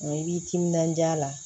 i b'i timinandiya la